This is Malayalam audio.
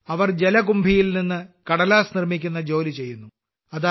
അവർ ജലകുംഭി ജലസസ്യംൽനിന്ന് കടലാസ് നിർമ്മിക്കുന്ന ജോലി ചെയ്യുന്നു